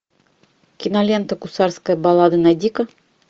кинолента гусарская баллада найди ка